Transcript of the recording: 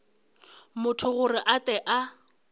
motho gore a tle a